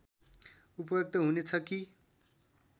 उपयुक्त हुनेछ कि